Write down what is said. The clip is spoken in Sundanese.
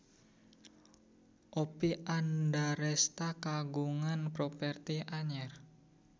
Oppie Andaresta kagungan properti anyar